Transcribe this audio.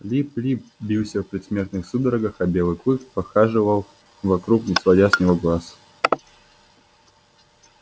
лип лип бился в предсмертных судорогах а белый клык похаживал вокруг не сводя с него глаз